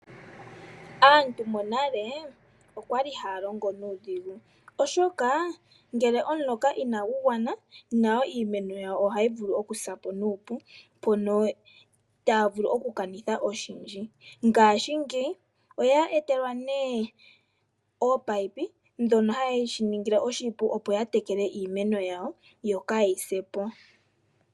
Aantu monale okwa li ha ya longo nuudhigu, oshoka ngele omuloka Ina gu gwana, nayo iimeno yawo oha yi vulu oku sa po nuupu, mono ta ya vulu oku kanirha oshindji. Ngaashingeyi oya etelwa ne ominino, ndhono ha shi ningile oshipu opo ya tekele iimeno yawo yo kaa yi se po.